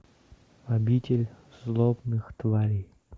обитель злобных тварей